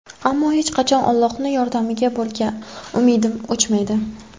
Ammo hech qachon Allohning yordamiga bo‘lgan umidim o‘chmaydi.